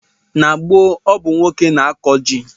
N'gboo ọ bụ nwoke n'akụ ji